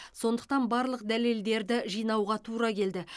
сондықтан барлық дәлелдерді жинауға тура келді